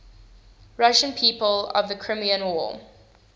russian people of the crimean war